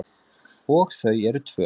Og þau eru tvö.